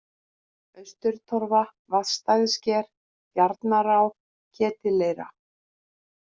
Austurtorfa, Vatnsstæðisker, Bjarnará, Ketilleira